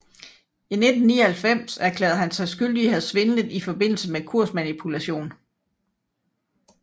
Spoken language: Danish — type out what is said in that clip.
I 1999 erklærede han sig skyldig i at have svindlet i forbindelse med kursmanipulation